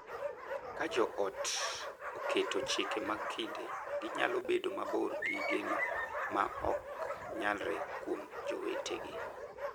Ka jo ot oketo chike mag kinde, ginyalo bedo mabor gi geno ma ok nyalre kuom jowetegi.